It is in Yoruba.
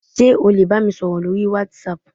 sé o le bamísoro lorí watsap